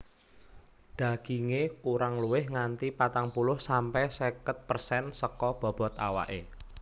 Dagingé kurang luwih nganti patang puluh sampe seket persen saka bobot awaké